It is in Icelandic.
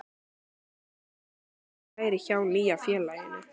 Við spurðum hana hvernig væri hjá nýja félaginu?